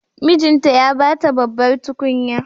Mijinta ya ba ta babbar tukunya.